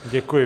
Děkuji.